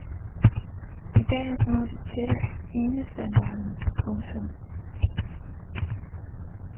I dag er små disketter enestandarden. punktum